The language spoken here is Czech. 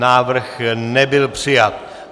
Návrh nebyl přijat.